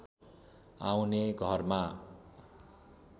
आउने घरमा